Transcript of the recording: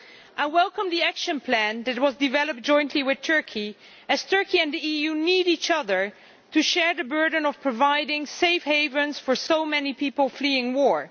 I welcome the action plan that was developed jointly with Turkey, as Turkey and the EU need each other to share the burden of providing safe havens for so many people fleeing war.